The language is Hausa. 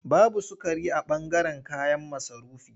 Babu sukari a ɓangaren kayan masarufi.